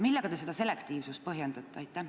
Millega te seda selektiivsust põhjendate?